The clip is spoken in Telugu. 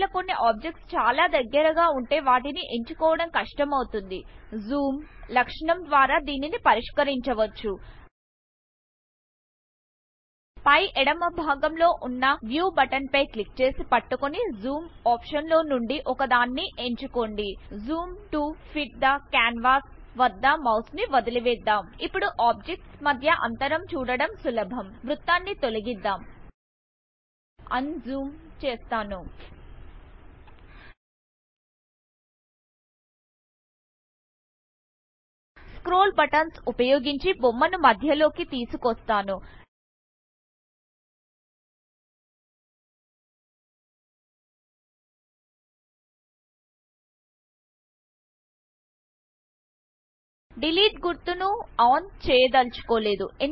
ఒక వేళ కొన్నిobjects చాలా దగ్గరగా వుంటే వాటిని ఎంచుకోవడం కష్టమవుతుంది జూమ్ లక్షణము ద్వారా దీనిని పరిష్కరించవచ్చు ఫై ఎడమ భాగం లో వున్నview బటన్ ఫై క్లిక్ చేసి పట్టుకొని జూమ్ ఒప్షన్స్ లోనుండి ఒకదాన్ని ఎంచుకోండి zoom to fit the canvas వద్ద మౌస్ ను వదిలేద్దాం ఇప్పుడు ఆబ్జెక్ట్స్ మద్య అంతరం చూడడం సులభం వృత్తాన్ని తొలగిద్డాం ఉంజూమ్ చేస్తాను స్క్రోల్ బటన్స్ ఉపయోగించి బొమ్మను మధ్యలోకి తీసుకొస్తాను డిలీట్ గుర్తును ఓన్ చేయదల్చుకోలేదు